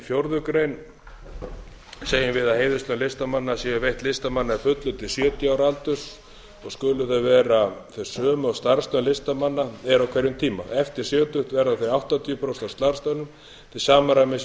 fjórða grein segjum við að heiðurslaun listamanna séu veitt listamanni að fullu til sjötíu ára aldurs og skulu þau vera þau sömu og starfslaun listamanna eru á hverjum tíma eftir sjötugt verða þau áttatíu prósent af starfslaunum til samræmis við